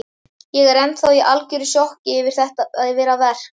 Ég er ennþá í algjöru sjokki yfir að verk